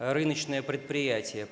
рыночное предприятие